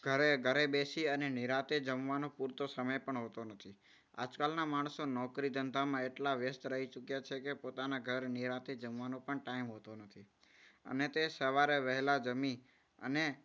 ઘરે ઘરે બેસીને નિરાંતે જમવાનું પૂરતો સમય પણ હોતો નથી. આજકાલના માણસો નોકરી ધંધામાં એટલા વ્યસ્ત રહી ચૂક્યા છે કે પોતાના ઘરે નિરાંતે જમવાનો પણ time હોતો નથી. અને તે સવારે વહેલા જમી અને